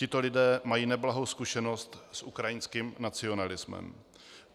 Tito lidé mají neblahou zkušenost s ukrajinským nacionalismem.